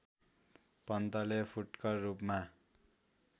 पन्तले फुटकर रूपमा